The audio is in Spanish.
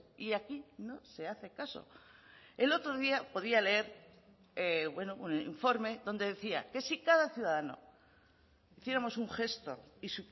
y aquí no se hace caso el otro día podía leer un informe donde decía que si cada ciudadano hiciéramos un gesto y